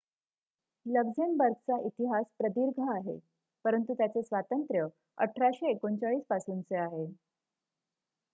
लक्झेमबर्गचा इतिहास प्रदीर्घ आहे परंतु त्याचे स्वातंत्र्य 1839 पासूनचे आहे